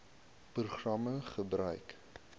program gebruik